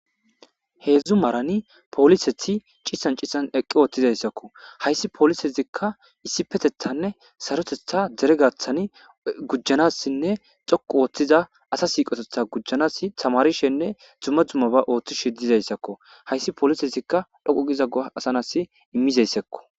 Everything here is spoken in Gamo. heedzdzu marani polisethi ciisan cisan eqqi oothtizayssakko hayssi polisezikka issi petethanne sarotetha dere gaththani gujanassinne coqu ooththiza asa siiqotetha gujanasi tamarishenne dzumma dzumma ba ooththishe dizayssakko hayssi polisezikka dhoqu giza asanas immizayssekko